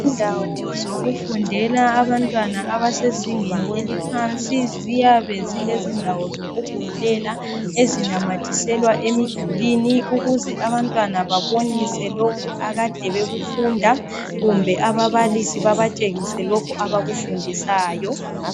Indawo zokufundela abamtwana abasezingeni eliphansi ziyabe zilendawo zokubhalela ezinamathiselwa emidulwini. Ukuze abantwana babonise lokhu akade bekufunda kumbe ababalisi babatshengise lokhu abakufundisayo.